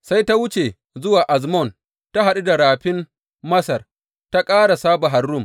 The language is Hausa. Sai ta wuce zuwa Azmon ta haɗu da Rafin Masar, ta ƙarasa a Bahar Rum.